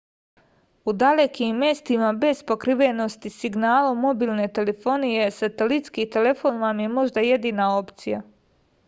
u dalekim mestima bez pokrivenosti signalom mobilne telefonije satelitski telefon vam je možda jedina opcija